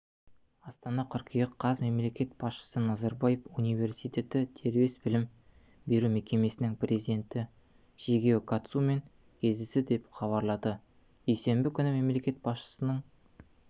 астана қыркүйек қаз мемлекет басшысы назарбаев университеті дербес білім беру мекемесінің президенті шигео катсумен кездесті деп хабарлады дүйсенбі күні мемлекет басшысының